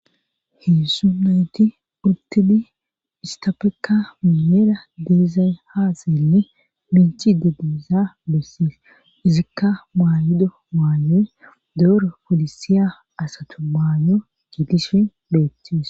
Heezu nayti uttidi isttafekka miyyera dizay haa xeeli miiccidi diyaysaa izikka maayido maayoy dooro polisiya asatu maayo gidishin beetes.